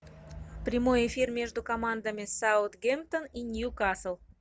прямой эфир между командами саутгемптон и ньюкасл